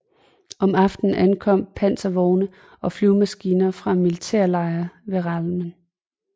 Om aftenen ankom panservogne og flyvemaskiner fra en militærlejr ved Ramleh